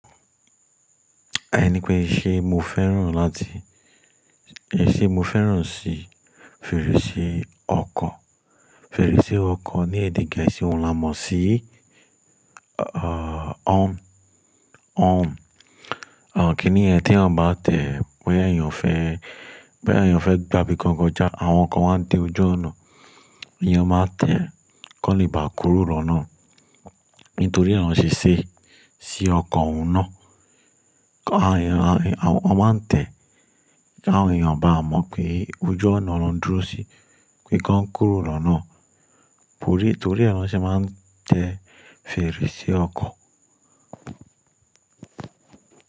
À ní pé ṣe mo fẹ́ràn láti, ẹ ṣe mo fẹ́ràn sí fèrèsé ọkọ̀? Fèrèsé ọkọ̀ ní èdè Gẹ̀ẹ́sì wọn la mọ̀ sí, à, àn, horn àn, kìnì é tí ẹ bá tẹ̀, bẹ́ ọ̀ ẹ́ ń fẹ́, bẹ́ ọ̀ ẹ́ ń fẹ́ gbábí kankan já, àwọn ọkọ̀ máa ń tẹ ojú ọ̀nà. Èèyàn máa tẹ kọ́nì bá kúrò lọ́nà. Nítorí e na ṣe ṣẹ́ sí ọkọ̀ ọ̀nà. Àwọn, àwọn máa ń tẹ̀, àwọn èèyàn bá a mọ̀ pé ojú ọ̀nà ló ń dúró sí, pé kí wọ́n kúrò lọ́nà. Torí, torí àwọn ṣe máa ń tẹ fèrèsé ọkọ̀.